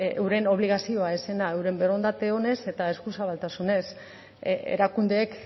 euren obligazioa ez zena euren borondate onez eta eskuzabaltasunez erakundeek